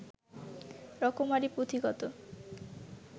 রকমারি পুঁথি কত